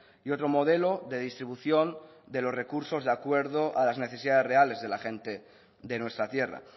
y otro modelo de distribución de los recursos de acuerdo a las necesidades reales de la gente de nuestra tierra